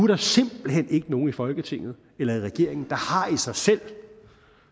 der simpelt hen ikke nogen i folketinget eller i regeringen